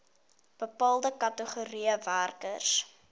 bepaalde kategorieë werkers